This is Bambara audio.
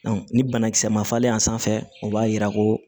ni banakisɛ ma falen a sanfɛ o b'a yira ko